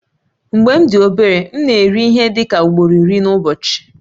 Mgbe m dị obere, m na-eri ihe dị ka ugboro iri n'ụbọchị